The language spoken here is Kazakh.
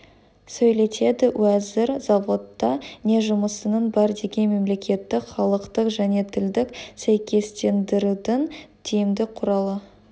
сөйлетеді уәзір заводта не жұмысының бар деген мемлекеттік халықтық және тілдік сәйкестендірудің тиімді құралы